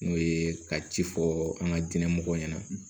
N'o ye ka ci fɔ an ka diinɛ mɔgɔ ɲɛna